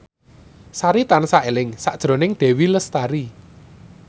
Sari tansah eling sakjroning Dewi Lestari